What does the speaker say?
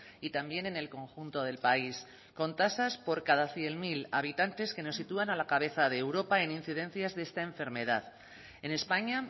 y también en el conjunto del país con tasas por cada cien mil habitantes que nos sitúan a la cabeza de europa en incidencias de esta enfermedad en españa